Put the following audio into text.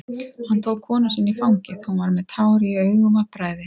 Hann tók konu sína í fangið, hún var með tár í augum af bræði.